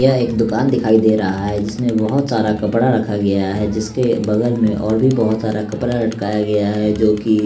यह एक दुकान दिखाई दे रहा है जिसमें बहुत सारा कपड़ा रखा गया है जिसके बगल में और भी बहुत सारा कपड़ा लटकाया गया है जो की--